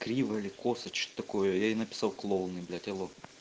криво или косо что-то такое я ей написал клоуны алло